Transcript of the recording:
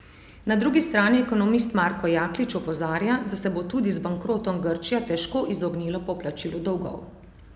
Na drugi strani ekonomist Marko Jaklič opozarja, da se bo tudi z bankrotom Grčija težko izognila poplačilu dolgov.